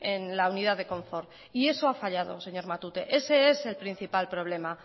en la unidad de confort y eso ha fallado señor matute ese es el principal problema